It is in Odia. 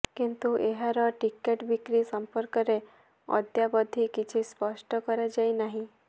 କିନ୍ତୁ ଏହାର ଟିକେଟ୍ ବିକ୍ରି ସମ୍ପର୍କରେ ଅଦ୍ୟାବଧି କିଛି ସ୍ପଷ୍ଟ କରାଯାଇନାହିଁ